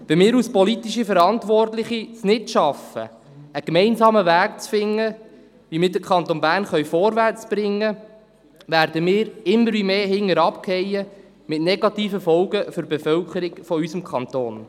Wenn wir als politische Verantwortliche es nicht schaffen, einen gemeinsamen Weg zu finden, auf dem wir den Kanton Bern vorwärtsbringen, werden wir immer wie mehr hinten abfallen mit negativen Folgen für die Bevölkerung unseres Kantons.